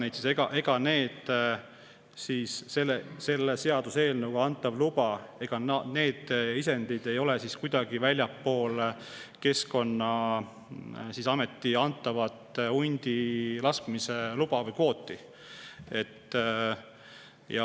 Ega siis need isendid, selle seaduseelnõuga antav luba, ei ole väljaspool Keskkonnaameti antavat hundi laskmise luba või kvooti.